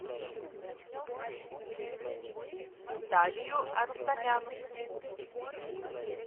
виталию арустамяну